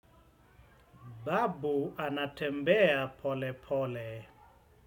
Babu anatembea pole pole.